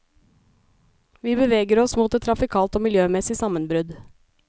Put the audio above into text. Vi beveger oss mot et trafikalt og miljømessig sammenbrudd.